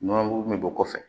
Nɔnɔmugu min bɛ bɔ kɔfɛ